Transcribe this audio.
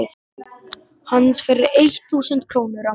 hans fyrir eitt þúsund krónur á mánuði.